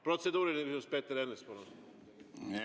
Protseduuriline küsimus, Peeter Ernits, palun!